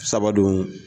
Sabadon